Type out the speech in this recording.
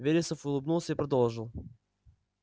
вересов улыбнулся и продолжил